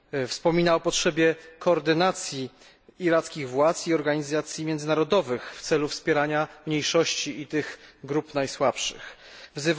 Wspomina o potrzebie koordynacji irackich władz i organizacji międzynarodowych w celu wspierania mniejszości i tych najsłabszych grup.